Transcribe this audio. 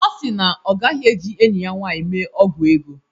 Ọ si na ọ gaghi-eji enyi ya nwanyị mee ọgwụ ego.